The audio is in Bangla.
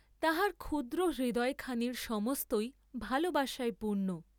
তাহার ক্ষুদ্র হৃদয়খানির সমস্তই ভালবাসায় পূর্ণ।